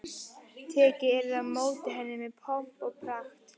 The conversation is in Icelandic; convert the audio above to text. Tekið yrði á móti henni með pomp og pragt.